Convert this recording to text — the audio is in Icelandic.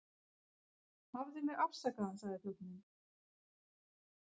Hafðu mig afsakaðan sagði þjónninn.